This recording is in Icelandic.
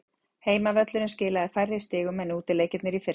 Heimavöllurinn skilaði færri sigrum en útileikirnir í fyrra.